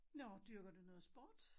Nå dyrker du noget sport?